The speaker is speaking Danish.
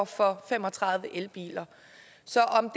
for fem og tredive elbiler